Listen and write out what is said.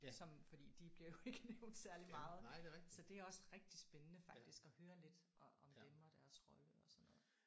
Som fordi de bliver jo ikke nævnt særlig meget så det er også rigtig spændende faktisk at høre lidt om om dem og deres rolle og sådan noget